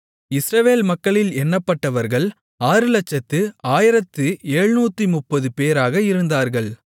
இஸ்ரவேல் மக்களில் எண்ணப்பட்டவர்கள் 601730 பேராக இருந்தார்கள்